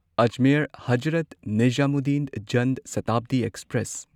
Ajmer Hazrat Nizamuddin Jan Shatabdi express